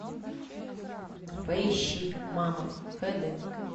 поищи мама хэ дэ